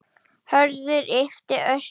Hörður yppti öxlum.